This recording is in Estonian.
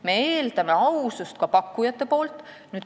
Me eeldame pakkujatelt ka ausust.